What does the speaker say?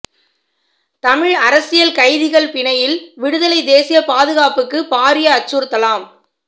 தமிழ் அரசியல் கைதிகள் பிணையில் விடுதலை தேசிய பாதுகாப்புக்குப் பாரிய அச்சுறுத்தலாம்